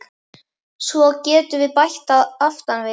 Svo getum við bætt aftan við